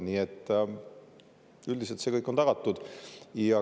Nii et üldiselt see kõik on tagatud.